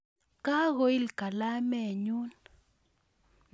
Kakoil kalaminyun